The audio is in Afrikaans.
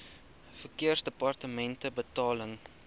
verkeersdepartementebetaling